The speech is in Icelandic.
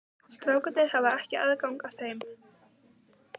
Strákarnir hafa ekki aðgang að þeim?